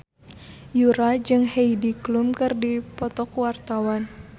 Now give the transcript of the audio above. Yura jeung Heidi Klum keur dipoto ku wartawan